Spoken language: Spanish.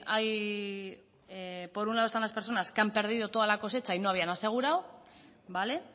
hay por un lado están las personas que han perdido toda la cosecha y no habían asegurado vale